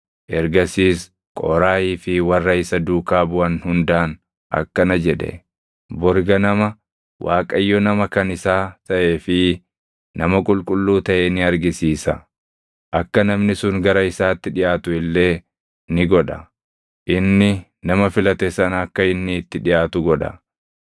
Ergasiis Qooraahii fi warra isa duukaa buʼan hundaan akkana jedhe: “Bori ganama Waaqayyo nama kan isaa taʼee fi nama qulqulluu taʼe ni argisiisa; akka namni sun gara isaatti dhiʼaatu illee ni godha. Inni nama filate sana akka inni itti dhiʼaatu godha.